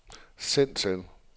send til